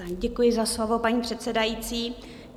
Děkuji za slovo, paní předsedající.